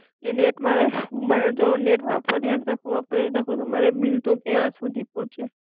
ને એક મારે, મારે તો નેટ વાપરીએ ને તો ખબર પડે કે બિલ તો કયા સુધી પોચ્યુ